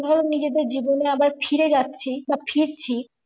ধরো নিজেদের জীবনে আবার ফিরে যাচ্ছি বা ফিরছি